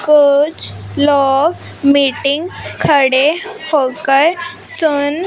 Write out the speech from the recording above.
कुछ लोग मीटिंग खड़े होकर सुन--